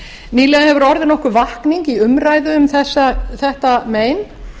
nýlega hefur orðið nokkur vakning í umræðu um þetta mein